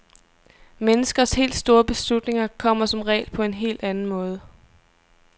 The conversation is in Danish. Menneskers helt store beslutninger kommer som regel på en helt anden måde.